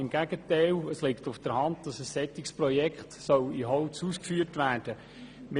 Im Gegenteil: Es ist ganz klar, dass ein solches Projekt in Holz ausgeführt werden soll.